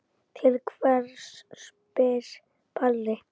Til hvers spyr Palli.